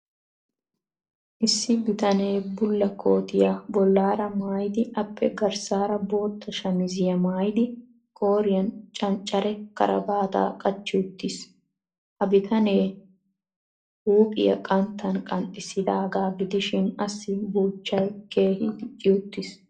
Issi bitanee bulla kootiya bollaara maayidi appe garssaara bootta shamiziyamaayidi qooriyan canccare karabaataa qachchi uttiis. Ha bitanee huuohiya qanttan qanxxissidaagaa gidishin assi buuchchay keehi dicci uttiis.